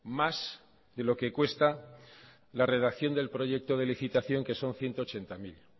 más que lo que cuesta la redacción del proyecto de licitación que son ciento ochenta mil